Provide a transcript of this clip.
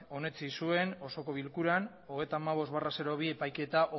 onetsi zuen osoko bilkuran hogeita hamabost barra bi epaiketa